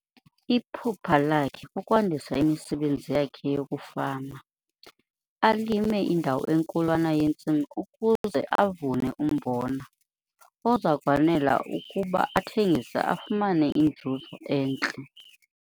Iphupha lakhe kukwandisa imisebenzi yakhe yokufama, alime indawo enkulwana yentsimi ukuze avune umbona oza kwanela ukuba athengise afumane inzuzo entle.